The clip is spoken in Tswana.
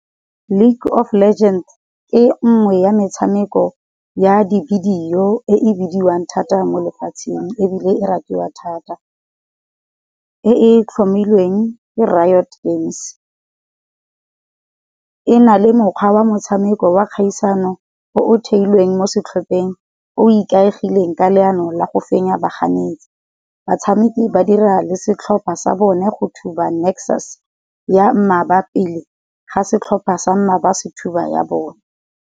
League of legends ke nngwe ya metshameko ya di-videoe bidiwang thata mo lefatsheng, ebile e ratiwa thata. E e tlhomilweng ke games. E na le mokgwa wa motshameko wa kgaisano o o theilweng mo setlhopheng o ikaegileng ka leano la go fenya baganetsi. Batshameki ba dira le setlhopha sa bone go thuba Nexus ya pele, ga setlhopha sa mmaba se thaba ya bone.